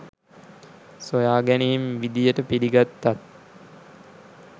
සොයාගැනීම් විදියට පිළිගත්තත්